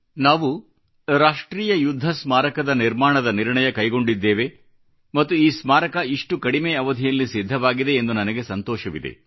ನಾವು ರಾಷ್ಟ್ರೀಯ ಯುದ್ಧ ಸ್ಮಾರಕದ ನಿರ್ಮಾಣದ ನಿರ್ಣಯ ಕೈಗೊಂಡಿದ್ದೇವೆ ಮತ್ತು ಈ ಸ್ಮಾರಕ ಇಷ್ಟು ಕಡಿಮೆ ಅವಧಿಯಲ್ಲಿ ಸಿದ್ಧವಾಗಿದೆ ಎಂದು ನನಗೆ ಸಂತೋಷವಿದೆ